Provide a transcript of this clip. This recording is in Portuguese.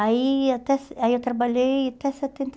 Aí até aí eu trabalhei até setenta e